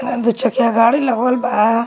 एने दु चकिया गाड़ी लगवल बा।